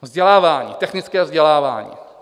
Vzdělávání, technické vzdělávání.